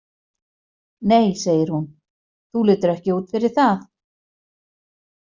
Nei, segir hún, þú lítur ekki út fyrir það!